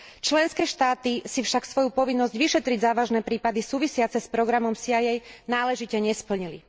Členské štáty si však svoju povinnosť vyšetriť závažné prípady súvisiace s programom CIA náležite nesplnili.